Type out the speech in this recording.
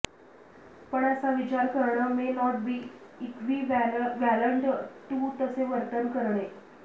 पण असा विचार करणं may not be equivalent to तसे वर्तन करणे